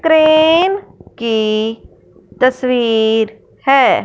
Crane की तस्वीर हैं।